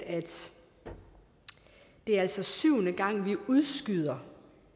det er altså syvende gang at vi udskyder